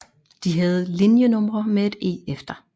De havde linjenumre med et E efter